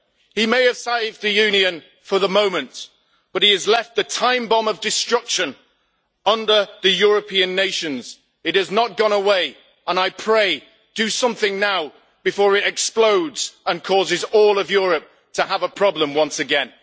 He may have saved the Union for the moment, but he has left a time bomb of destruction under the European nations. It has not gone away, and I pray do something now, before it explodes and causes all of Europe to have a problem once again.